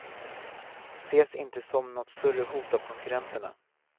Ses inte som nåt större hot av konkurrenterna.